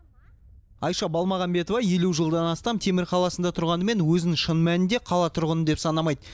айша балмағамбетова елу жылдан астам темір қаласында тұрғанымен өзін шын мәнінде қала тұрғыны деп санамайды